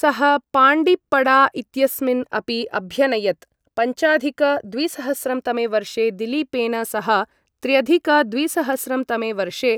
सः पाण्डिप्पडा इत्यस्मिन् अपि अभ्यनयत्, पञ्चाधिक द्विसहस्रं तमे वर्षे दिलीपेन सह, त्र्यधिक द्विसहस्रं तमे वर्षे